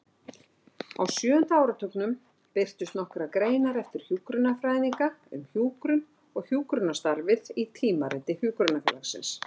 Á sjöunda áratugnum birtust nokkrar greinar eftir hjúkrunarfræðinga um hjúkrun og hjúkrunarstarfið í Tímariti Hjúkrunarfélagsins.